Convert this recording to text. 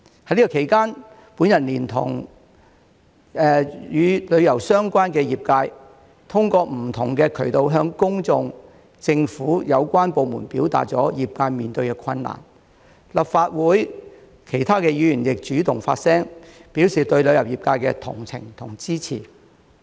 在此期間，我聯同與旅遊相關的業界，通過不同渠道向公眾、政府有關部門表達業界面對的困難，立法會其他議員亦主動發聲，表示對旅遊業界的同情和支持。